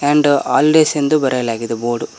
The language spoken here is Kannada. ಅಂಡ್ ಆಲ್ವೇಸ್ ಎಂದು ಬರೆಯಲಾಗಿದೆ ಬೋರ್ಡ್ .